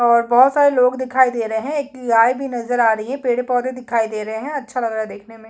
और बहोत सारे लोग दिखाई दे रहे है एक गाय भी नज़र आ रही है पेड़-पौधे दिखाई दे रहा है अच्छा लग रहा है देखने में--